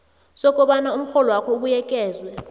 sokobana umrholwakho ubuyekezwe